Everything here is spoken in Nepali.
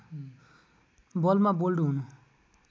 बलमा बोल्ड हुनु